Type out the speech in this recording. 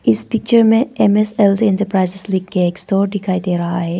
इस पिक्चर में M S L T enterprises लिख के एक स्टोर दिखाई दे रहा है।